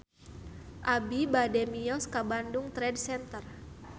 Abi bade mios ka Bandung Trade Center